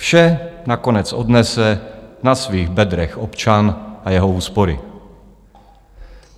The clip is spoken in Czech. Vše nakonec odnese na svých bedrech občan a jeho úspory.